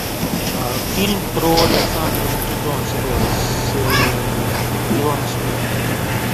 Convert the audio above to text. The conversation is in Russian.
фильм про александра македонского с уиллом смитом